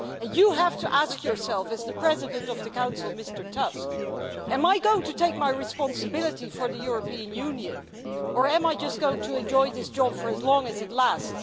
You have to ask yourself, as President of the Council, Mr Tusk, Am I going to assume my responsibility for the European Union or am I just going to enjoy this job for as long as it lasts?'